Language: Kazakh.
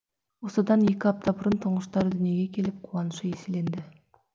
осыдан екі апта бұрын тұңғыштары дүниеге келіп қуанышы еселенді